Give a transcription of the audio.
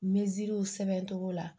Meziriw sɛbɛn togo la